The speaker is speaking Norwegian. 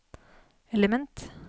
element